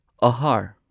ꯑꯍꯥꯔ